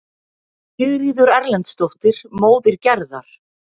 Sigríður Erlendsdóttir, móðir Gerðar.